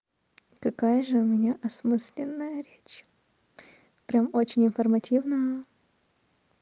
какая же у меня осмысленная речь прямо очень информативно